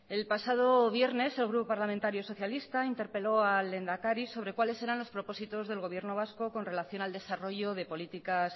el pasado viernes el grupo parlamentario socialista interpeló al lehendakari sobre cuáles eran los propósitos del gobierno vasco con relación al desarrollo de políticas